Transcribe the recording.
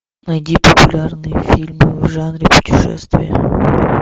найди популярные фильмы в жанре путешествия